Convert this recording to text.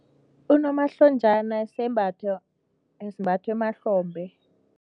Unomahlonjana sembatho esimbathwa emahlombe.